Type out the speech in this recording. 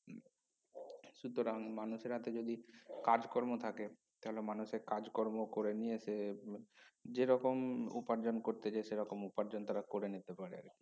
সুতরাং মানুষের হাতে যদি কাজকর্ম থাকে তাহলে মানুষে কাজ কর্ম করে নিয়ে সে হম যে রকম উপার্জন করতে যে সরকম উপার্জন তারা করে নিতে পারে আরকি